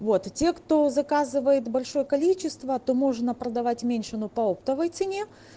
вот и те кто заказывает большое количество то можно продавать меньше но по оптовой цене